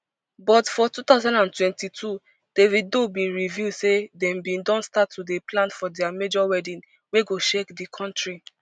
but for two thousand and twenty-two davido bin reveal say dem bin don start to dey plan for dia major wedding wey go shake di kontri